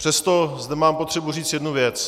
Přesto zde mám potřebu říct jednu věc.